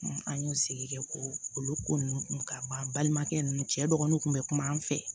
an y'o sigi kɛ ko olu ko nunnu kun ka ban balimakɛ nunnu cɛ dɔgɔninw kun bɛ kuma an fɛ